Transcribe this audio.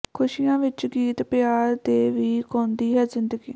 ਖੁਸ਼ੀਆਂ ਵਿੱਚ ਗੀਤ ਪਿਆਰ ਦੇ ਵੀ ਗਾਉਂਦੀ ਹੈ ਜ਼ਿੰਦਗੀ